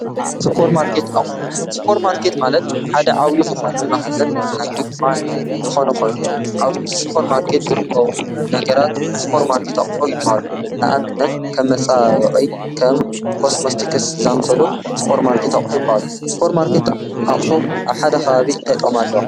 ስር ማርከት ኣቕፎ ስጶር ማርቄት ማለት ሓደ ዓዊዪ ዝኾነ መኽዘን ናይ ድኳዓን ዝኾነ ኾይኑ ኣብ ስጶር ማርከት ዘርጐዉ ነገራት ስጶር ማርቄት ኣቕፎ ይበሃሉ ንኣምነት ከም መፃኦይ ከም ቆስሞስጢክስ ዛምሰሎ ስጶር ማርከት ኣሖ ይበሃሉ ስጶር ማርከት ኣቕፎ ኣብሓደ ኻቤይ እንታይጦም ኣለዋ